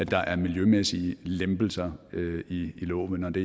være miljømæssige lempelser i loven og det